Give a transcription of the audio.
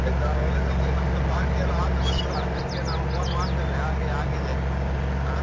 ಆಯ್ತಾ ಒಳ್ಳೇದಾಗ್ಲಿ ನಮ್ದು party ಎಲ್ಲ ಆದ ನಂತ್ರ, ನಿಮ್ಗೆ ನಾವು phone ಮಾಡ್ತೇವೆ, ಹಾಗೆ ಆಗಿದೆ, ಹ?